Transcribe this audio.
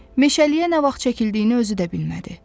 Meşəliyə nə vaxt çəkildiyini özü də bilmədi.